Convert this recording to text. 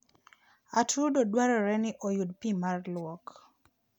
atudo dwarore ni oyud pi mar lwok.